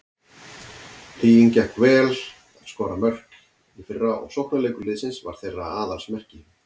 Huginn gekk vel að skora mörk í fyrra og sóknarleikur liðsins var þeirra aðalsmerki.